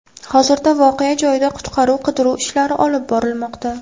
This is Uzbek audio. Hozirda voqea joyida qutqaruv-qidiruv ishlari olib borilmoqda.